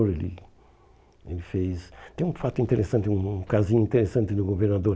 hum Ele fez... Tem um fato interessante, um casinho interessante do governador.